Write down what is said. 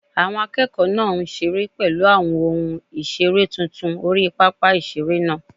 Àwọn akẹ́kọ̀ọ́ náà ń seré pẹ̀lú àwọn ohun ìseré tuntun orí pápá ìseré náà